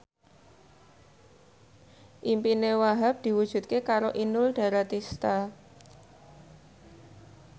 impine Wahhab diwujudke karo Inul Daratista